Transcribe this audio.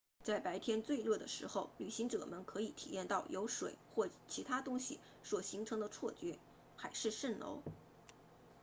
在白天最热的时候旅行者们可以体验到由水或其他东西所形成的错觉海市蜃楼